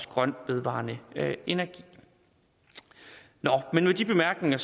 grøn vedvarende energi nå men med de bemærkninger